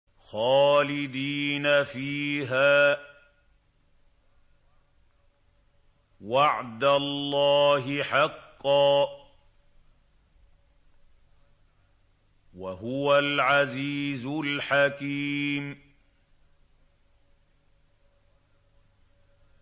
خَالِدِينَ فِيهَا ۖ وَعْدَ اللَّهِ حَقًّا ۚ وَهُوَ الْعَزِيزُ الْحَكِيمُ